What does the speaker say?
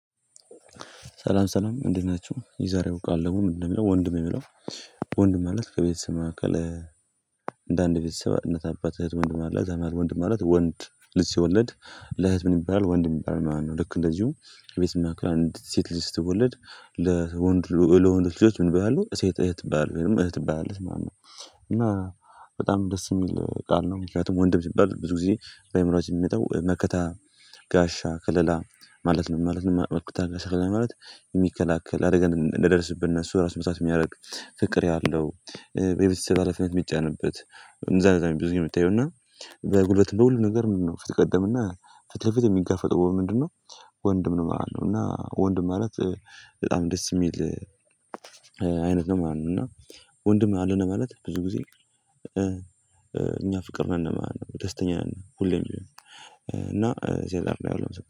ሰላም ሰላም እንዴት ናችሁ የዛሬው ቃል ደግሞ ምን እንደሚለው ወንድም የሚለው? ወንድም ማለት ከቤተሰብ መካከል። እንደ አንድ ቤተሰብነት አባት እህት ወንድ ማለት ከዛ መሃል ወንድ ማለት ወንድ ልጂ ሲወለድ ለእህት ምን ይባላል ወንድም ይባላል ማለት ነው ልክ እንደዚሁም ቤት የሚያክል አንድ ሴት ልጅ ስትወለድ። ለወንድ ልጆች ምን ይባላሉ የሴት እህት ይባላሉ ወይም እህት ትባላለች ማለት ነው። እና በጣም ደስ የሚል ቃል ነው። ምክንያቱም ወንድም ሲባል ብዙ ጊዜ በአእምሮአችን የሚመጣው መከታ ጋሻ ከለላ ማለት ነው ማለት ነው። መከታና ከለላ ማለት የሚከላከል አደጋ እንዳይደርስብን እነሱ እራሱ መስዋዕት የሚያደርግ ፍቅር ያለው ቤተሰብ ሀላፊነት የሚጫንበት። እንደዛ አይነት ብዙኛው የሚታየው እና በጉልበት በሁሉም ነገር ምንድነው ፊት ቀደም እና ፊት ለፊት የሚጋፈጥ ሆኖ ምንድነው? ወንድም ነው ማለት ነው። እና ወንድም ማለት በጣም ደስ የሚል አይነት ነው ማለት ነው። እና ወንድም አለነ ማለት ብዙ ጊዜ። እኛ ፍቅር ነነ ማለት ነው ደስተኛ ነን ሁሌም። እና ሲያዘር ነው ያውለው